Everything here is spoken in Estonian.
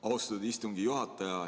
Austatud istungi juhataja!